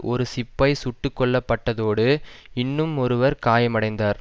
ஒரு சிப்பாய் சுட்டு கொல்ல பட்டதோடு இன்னுமொருவர் காயமடைந்தார்